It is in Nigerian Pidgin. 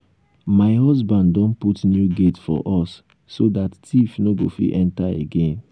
my husband don put new gate for us so dat thief no go fit enter again